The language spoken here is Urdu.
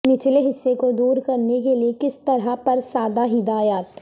نچلے حصہ کو دور کرنے کے لئے کس طرح پر سادہ ہدایات